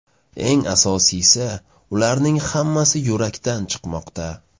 Eng asosiysi, ularning hammasi yurakdan chimoqda.